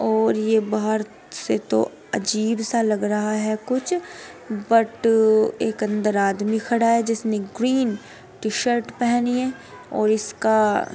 और ये बाहर से तो अजीब सा लग रहा है। कुछ बट एक अन्दर आदमी खड़ा है। जिसने ग्रीन टीशर्ट पहनी है और इसका --